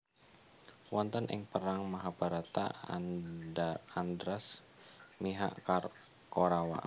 Wonten ing perang Mahabharata Andhras mihak Korawa